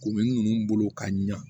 Kuru ninnu bolo ka ɲa